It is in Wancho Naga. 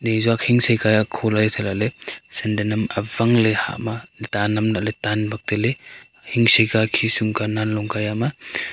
nizuak hingse ke akho lah e thaI lahley senden am awangley hahma dan am lahley tan bak tailey hing seka khisum ka nan longka yam a.